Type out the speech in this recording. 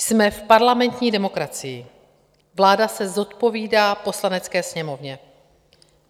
Jsme v parlamentní demokracii, vláda se zodpovídá Poslanecké sněmovně.